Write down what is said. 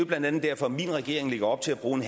blandt andet derfor at min regering lægger op til at bruge